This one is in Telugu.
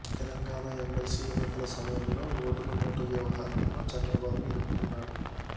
తెలంగాణ ఎమ్మెల్సీ ఎన్నికల సమయంలో ఓటుకు నోటు వ్యవహారంలో చంద్రబాబు ఇరుక్కున్నాడు